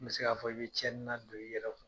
N mi se k'a fɔ, i bi cɛnnin nadon i yɛrɛ kun